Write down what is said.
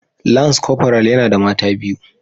Lance corporal yana da mata biyu